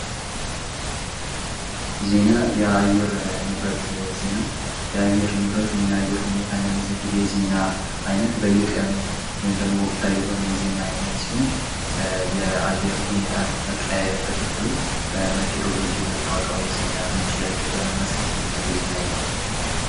ዜና: ወቅታዊና አንገብጋቢ ጉዳዮችን ለህዝብ በፍጥነትና በትክክለኛነት የሚያደርስ ወሳኝ የመረጃ ምንጭ ሲሆን፣ ስለ ዓለማችን ያለንን ግንዛቤ ያሰፋል።